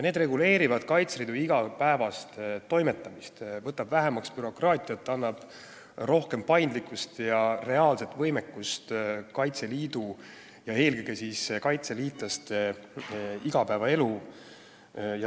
Need reguleerivad Kaitseliidu igapäevast toimetamist, võtavad vähemaks bürokraatiat, võimaldavad rohkem paindlikkust ja suurendavad reaalset võimekust eelkõige kaitseliitlaste igapäevaelus.